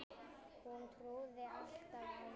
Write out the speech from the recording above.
Hún trúði alltaf á mig.